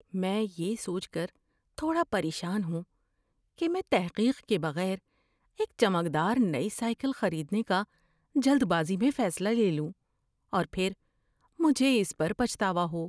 میں یہ سوچ کر تھوڑا پریشان ہوں کہ میں تحقیق کے بغیر ایک چمکدار نئی سائیکل خریدنے کا جلد بازی میں فیصلہ لے لوں اور پھر مجھے اس پر پچھتاوا ہو۔